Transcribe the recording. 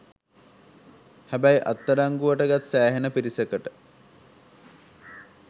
හැබැයි අත් අඩංගුවට ගත් සෑහෙන පිරිසකට